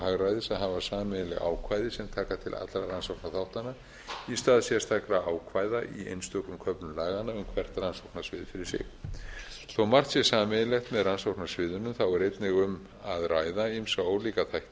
hagræðis að hafa sameiginleg ákvæði sem taka til allra rannsóknarþáttanna í stað sérstakra ákvæða í einstökum köflum laganna um hvert rannsóknarsvið fyrir sig þó margt sé sameiginlegt með rannsóknarsviðinu er einnig um að ræða ýmsa ólíka þætti